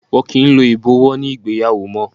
Wọn kì í lo ibowo ní ìgbéyàwó mó.